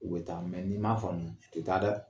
U bɛ taa mɛ n'i m'a famu u tɛ taa dɛ!